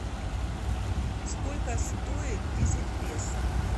сколько стоит десять песо